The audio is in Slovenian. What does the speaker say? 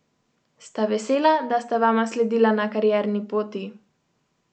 Sta vesela, da sta vama sledila na karierni poti?